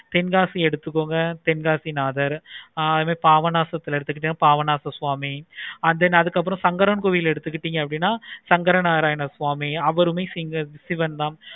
தென்காசி எடுத்துக்கோங்க தென்காசிநாதர் ஆஹ் பாபாசனாசம் எடுத்துக்கோங்க பாபநாச சாமி then அதுக்கு அப்பறம் சங்கரன் கோவில் எடுத்துக்கிட்டிங்கனா சங்கரநாராயணன் கோவில் யாவருமே சிவன் தான்